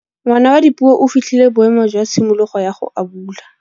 Ngwana wa Dipuo o fitlhile boêmô jwa tshimologô ya go abula.